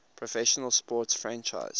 professional sports franchise